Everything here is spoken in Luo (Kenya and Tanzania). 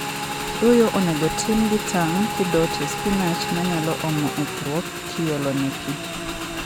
Doyo onego otim gi tang' kidoo tie spinach manyalo omo ethrwuok kiolone pii.